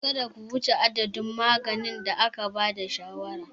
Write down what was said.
Kada ku wuce adadin maganin da aka ba da shawarar.